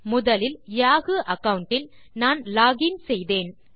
முதலில் Yahoo account இல் நான் லாக் இன் செய்தேன்